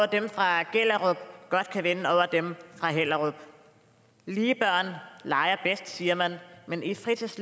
dem fra gellerup godt kan vinde over dem fra hellerup lige børn leger bedst siger man men i fritids